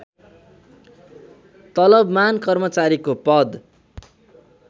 तलबमान कर्मचारीको पद